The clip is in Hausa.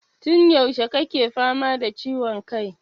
Tun yaushe kake fama da ciwon kai?